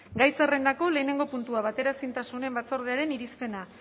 gai zerrendako lehenengo puntua bateraezintasun batzordearen irizpena